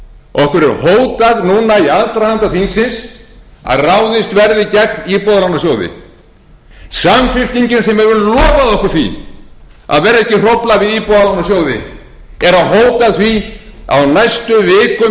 okkur er hótað núna í aðdraganda þingsins að ráðist verði gegn íbúðalánasjóði samfylkingin sem hefur lofað okkur því að ekki verði hótað við